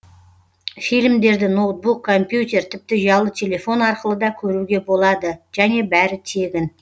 фильмдерді ноутбук компьютер тіпті ұялы телефон арқылы да көруге болады және бәрі тегін